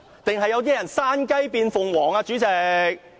還是有人想山雞變鳳凰呢，主席？